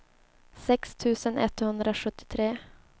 sex tusen etthundrasjuttiotre